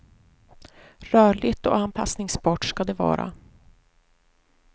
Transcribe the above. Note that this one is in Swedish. Rörligt och anpassningsbart ska det vara.